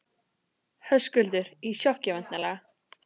Höskuldur: Í sjokki væntanlega?